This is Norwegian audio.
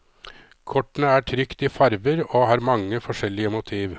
Kortene er trykt i farger og har mange forskjellige motiv.